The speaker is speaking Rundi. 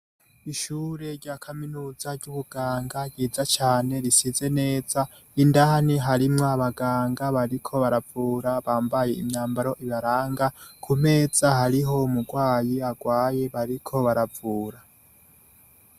Ishure rya Kaminuza ry'ubuganga ryiza cane risize neza, indani harimwo abaganga bariko baravura bambaye imyambaro ibaranga, ku meza hariho umurwayi agwaye bariko baravura.